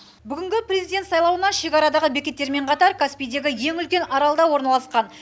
бүгінгі президент сайлауына шекарадағы бекеттермен қатар каспийдегі ең үлкен аралда орналасқан